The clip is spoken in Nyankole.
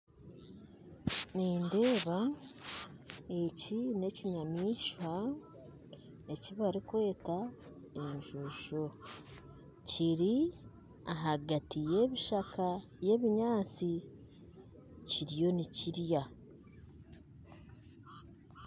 Nindeeba eki ni ekinyamaishwa eki barikweta enjojo. Kiri ahagati ya ebishaka ya ebinyatsi. Kiriyo nikirya